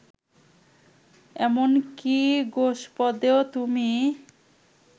এমন কি গোষ্পদেও তুমি